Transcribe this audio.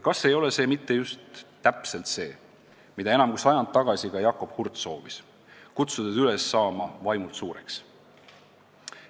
Kas ei ole see mitte just täpselt see, mida enam kui sajand tagasi ka Jakob Hurt soovis, kutsudes üles saama vaimult suureks?